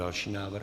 Další návrh.